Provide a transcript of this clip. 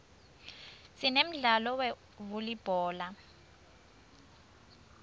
sinemdlalo we uulibhola